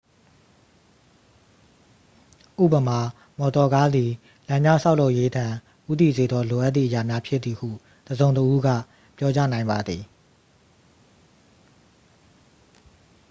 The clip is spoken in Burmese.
ဥပမာ မော်တော်ကားသည် လမ်းများဆောက်လုပ်ရေးထံ ဦးတည်စေသော လိုအပ်သည့်အရာများဖြစ်သည်ဟု တစ်စုံတစ်ဦးက ပြောကြားနိုင်ပါသည်